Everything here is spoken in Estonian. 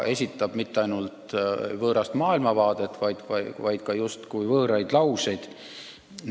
Ta mitte ainult ei esitle võõrast maailmavaadet, vaid ütleb ka justkui võõraid lauseid.